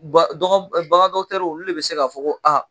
Ba bagandɔgɔtɛriw olu de bɛ se ka fɔ